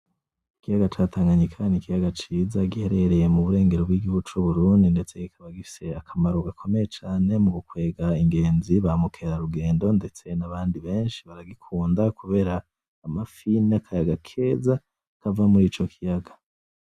Ikiyaga ca Tanganyika n'ikiyaga ciza giherereye muburengero bw'igihugu c'Uburundi ndetse kikaba gifise akamaro gakomeye cane mugukwega ingezi, ba mukerarugendo ndetse nabandi benshi baragikunda kubera amafi n'akayaga keza kava murico kiyaga.